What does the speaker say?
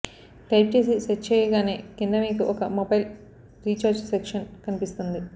type చేసి search చేయగానే కింద మీకు ఒక మొబైల్ రీచార్జ్ సెక్షన్ కనిపిస్తుంది